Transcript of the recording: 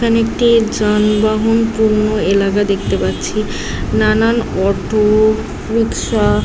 এখানে একটি যানবাহন পূর্ণ এলাকা দেখতে পাচ্ছি নানান অটো রিকশা --